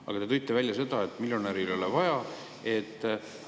Aga te tõite välja, et miljonärile ei ole soodustust vaja.